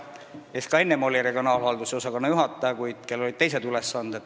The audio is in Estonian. Ta oli ka enne regionaalhalduse osakonna juhataja, kuid tal olid teised ülesanded.